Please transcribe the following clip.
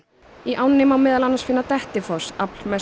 í ánni má meðal annars finna Dettifoss